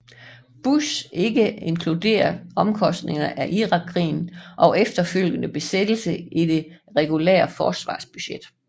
Bush ikke inkluderet omkostningen af Irakkrigen og efterfølgende besættelse i det regulære forsvarsbudget